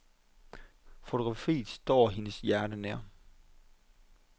Fotografiet står hendes hjerte nær.